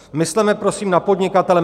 Mysleme prosím na podnikatele.